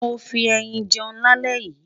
mó fí ẹyìn jẹun là lè yí